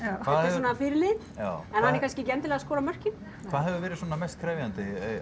svona fyrirliðinn já en hann er kannski ekki endilega að skora mörkin hvað hefur verið svona mest krefjandi